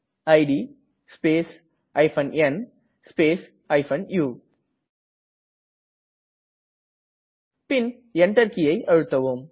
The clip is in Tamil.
it space n space u பின் Enter கீயை அழுத்தவும்